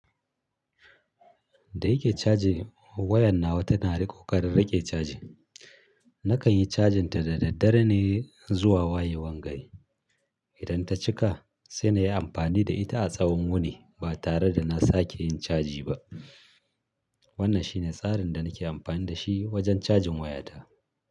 Da yake caji, wayan nawa tana da ƙoƙarin riƙe caji. Nakan yi cajin ta da daddare ne zuwa wayewan gari. Idan ta cika sai na yi amfani da ita a tsawon wuni ba tare da na sake yin caji ba. Wannan shi ne tsarin da nake amfani da shi wajen cajin wayata.